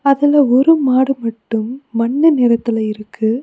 அதுல ஒரு மாடு மட்டும் மண்ணு நிறத்துல இருக்கு.